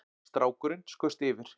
Strákurinn skaust yfir